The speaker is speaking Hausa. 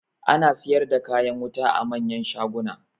Ana siyar da kayan wuta a manyan shaguna.